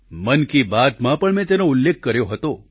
મન કી બાતમાં પણ મેં તેનો ઉલ્લેખ કર્યો હતો